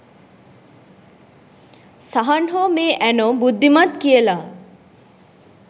සහන් හෝ මේ ඇනෝ බුද්ධිමත් කියලා